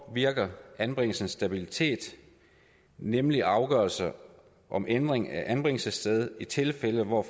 påvirker anbringelsens stabilitet nemlig afgørelser om ændring af anbringelsessted i tilfælde hvor